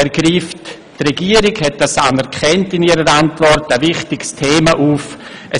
Die Regierung hat anerkannt, dass er ein wichtiges Thema aufgreift.